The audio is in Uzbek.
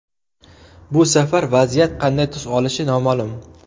Bu safar vaziyat qanday tus olishi noma’lum.